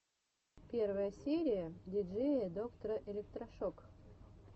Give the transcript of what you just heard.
первая серия диджея доктора электрошок